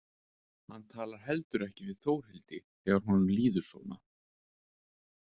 Hann talar heldur ekki við Þórhildi þegar honum líður svona.